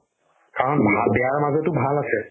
কাৰণ বেয়াৰ মাজতও ভাল আছে